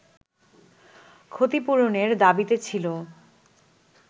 ক্ষতিপূরণের দাবিতে ছিল